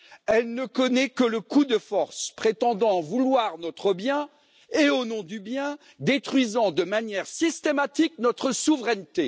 Elle ne connaît que le coup de force, prétendant vouloir notre bien et, au nom du bien, détruisant de manière systématique notre souveraineté.